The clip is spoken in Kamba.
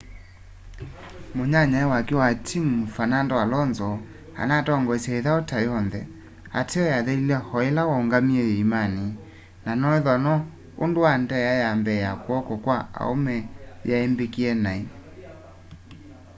munyanyae wake wa timu fernando alonso anatongoestye ithau ta yonthe ateo yathelile o ila waungamie yiimani na noethwa no undu wa ndia ya mbee ya kw'oko kwa aume yai mbikie nai